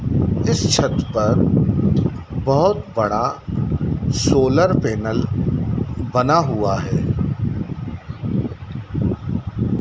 इस छत पर बहुत बड़ा सोलर पैनल बना हुआ है।